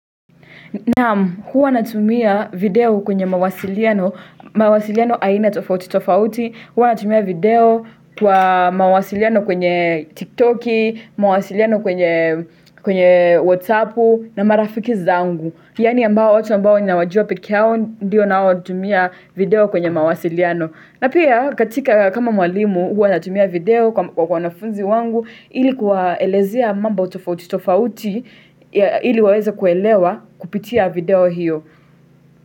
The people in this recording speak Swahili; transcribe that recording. Nama huwa natumia video kwenye mawasiliano, mawasiliano aina tofauti tofauti, huwa natumia video kwa mawasiliano kwenye tiktoki, mawasiliano kwenye whatsappu na marafiki zangu. Yaani ambao watu ambao ninawajua peke yao, ndiyo nawatumia video kwenye mawasiliano. Na pia katika kama mwalimu, huwa natumia video kwa wanafunzi wangu, ili kuwaelezea mambo tofauti tofauti, ili waweza kuelewa kupitia video hiyo.